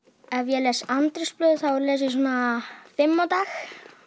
ef ég les þá les ég svona fimm á dag